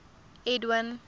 edwin